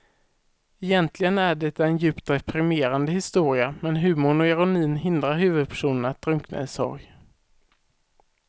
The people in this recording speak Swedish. Egentligen är det en djupt deprimerande historia men humorn och ironin hindrar huvudpersonen att drunkna i sorg.